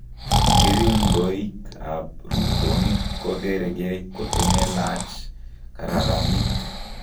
Keringoik ab ruutonik kogerekei koto melaach kararanik